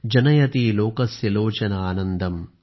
जनयति लोकस्य लोचन आनन्दम